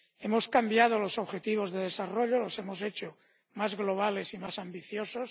Hemos cambiado los objetivos de desarrollo los hemos hecho más globales y más ambiciosos.